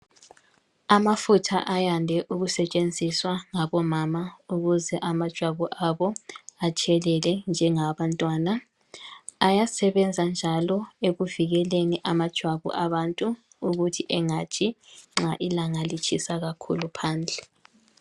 Amafutha ayande ukutshenziswa ngabomama ukuze amajwabu abo atshelele njengawabantwana, ayesebenza njalo ekuvikeleni amajwabu abantu ukuthi engatshi nxa ilanga litshisa kakhulu phandle.